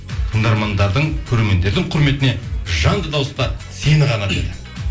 тыңдармандардың көрермендердің құрметіне жанды дауыста сені ғана